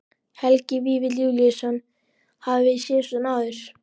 Helgi Vífill Júlíusson: Hafið þið séð svona áður?